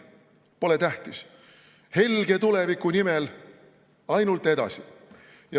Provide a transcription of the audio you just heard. Pole tähtis, helge tuleviku nimel ainult edasi.